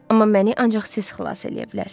Amma məni ancaq siz xilas eləyə bilərsiz.